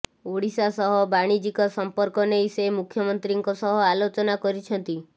ଓଡ଼ିଶା ସହ ବାଣିଜ୍ୟିକ ସଂପର୍କ ନେଇ ସେ ମୁଖ୍ୟମନ୍ତ୍ରୀଙ୍କ ସହ ଆଲୋଚନା କରିଛନ୍ତି